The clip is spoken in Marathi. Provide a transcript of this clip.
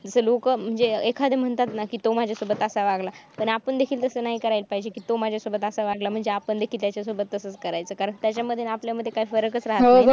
जिथं लोक म्हणजे एखादी म्हणतात ना तो माझ्यासोबत असा वागला पण आपण देखील असं नाही करायला पाहिजे की तू माझ्या सोबत असा वागला म्हणजे आपण देखील त्याच्यासोबत तसंच करायचं कारण त्याच्यामध्ये आणि आपल्या मध्ये काय फरक राहत नाही ना